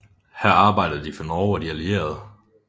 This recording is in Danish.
Her arbejdede de for Norge og de allierede